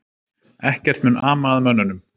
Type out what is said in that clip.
Ekkert mun ama að mönnunum